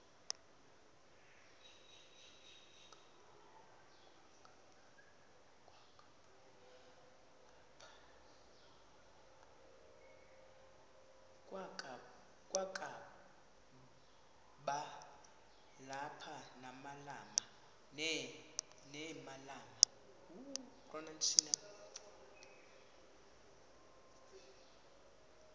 kwakaba lapha nemalana